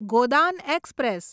Godan express